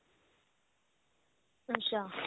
ਅੱਛਾ